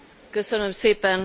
Köszönöm szépen!